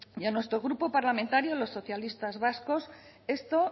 y a nuestro grupo parlamentario los socialistas vascos esto